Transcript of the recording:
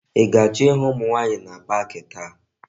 I ga-acho ihu umu nwaanyi na pak taa?